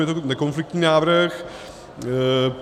Je to nekonfliktní návrh.